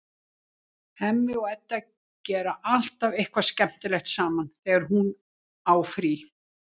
Hemmi og Edda gera alltaf eitthvað skemmtilegt saman þegar hún á frí.